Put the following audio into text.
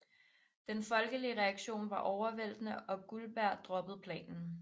Den folkelige reaktion var overvæltende og Guldberg droppede planen